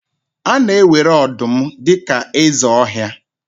A na-ewere ọdụm dị ka eze ọhịa